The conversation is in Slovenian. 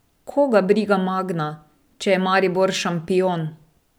Koga briga Magna, če je Maribor šampion!